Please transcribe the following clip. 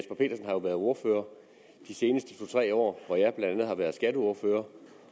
været ordfører de seneste to tre år hvor jeg blandt andet har været skatteordfører